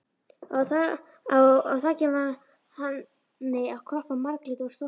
Á á þakinu var hani að kroppa, marglitur og stoltur.